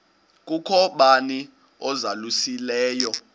kukho bani uzalusileyo